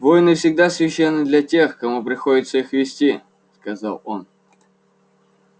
войны всегда священны для тех кому приходится их вести сказал он